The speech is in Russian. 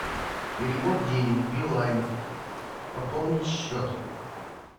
перевод денег билайн пополнить счет